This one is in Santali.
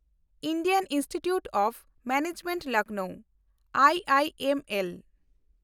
Indian institute of management Lucknow (I M L)